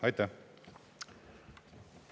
Aitäh!